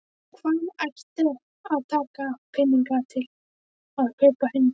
Og hvaðan ætti að taka peninga til að kaupa hund?